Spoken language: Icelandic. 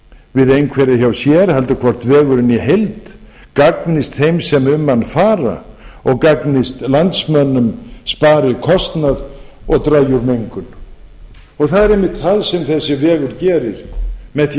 einhverja hjá sér heldur hvort vegurinn í heild gagnist þeim sem um hann fara og gagnist landsmönnum spari kostnað og dragi úr mengun það er einmitt það sem þessi vegur gerir með því að